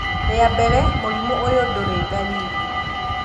Rĩa mbele, mũrimũ ũyũ ndũrĩ dalili